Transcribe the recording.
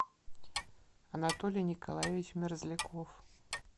анатолий николаевич мерзляков